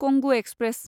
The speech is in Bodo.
कंगु एक्सप्रेस